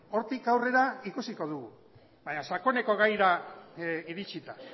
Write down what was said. hortik aurrera ikusiko dugu baina sakoneko gaira iritsita